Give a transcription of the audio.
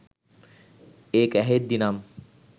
ඒක ඇහෙද්දිනම්.